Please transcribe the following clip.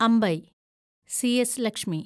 Ambai (C S. Lakshmi)